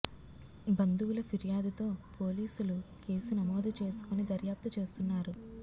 బంధువుల ఫిర్యాదుతో పోలీసులు కేసు నమోదు చేసుకొని దర్యాప్తు చేస్తున్నారు